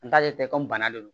N t'ale tɛ ko bana de don